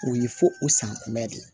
O ye fo o san kunbɛn de ye